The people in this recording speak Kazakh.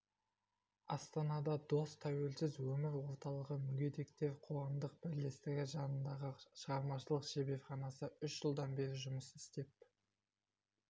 астанада дос тәуелсіз өмір орталығы мүгедектер қоғамдық бірлестігі жанындағы шығармашылық шеберханасы үш жылдан бері жұмыс істеп